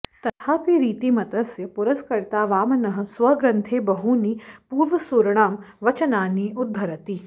तथापि रीतिमतस्य पुरस्कर्ता वामनः स्वग्रन्थे बहूनि पूर्वसूरिणां वचनानि उद्धरति